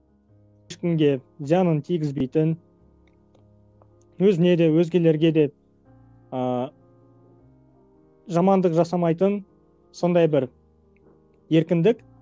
ешкімге зиянын тигізбейтін өзіне де өзгелерге де ыыы жамандық жасамайтын сондай бір еркіндік